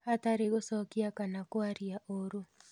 hatarĩ gũcokia kana kwaria ũũru